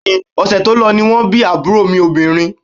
Bẹ́ẹ̀ni, ọ̀sẹ̀ tó lọ ni wọ́n bí àbúrò mi obìnrin